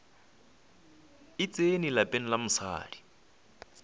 e tsene lapeng la mosadi